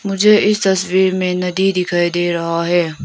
मुझे इस तस्वीर में नदी दिखाई दे रहा है।